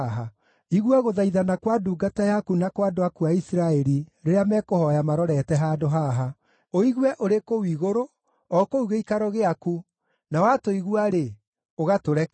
Igua gũthaithana kwa ndungata yaku na kwa andũ aku a Isiraeli rĩrĩa mekũhooya marorete handũ haha. Ũigue ũrĩ kũu igũrũ, o kũu gĩikaro gĩaku; na watũigua-rĩ, ũgatũrekera.